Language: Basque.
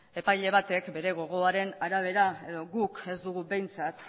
epaile batek bere gogoaren arabera edo guk ez dugu behintzat